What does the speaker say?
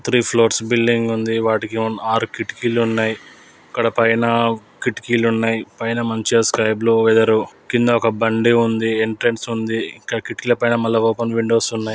Three floors building ఉంది వాటికీ ఆరు కిటికీలు ఉన్నాయి. అక్కడ పైన కిటికీలు ఉన్నాయి. పైన మంచిగా సైడ్ లో వేఫర్ కింద ఒక బండి ఉంది. ఎంట్రన్స్ ఉంది. మల్ల కిటికీల పైన ఓపెన్ విండోస్ ఉన్నాయి.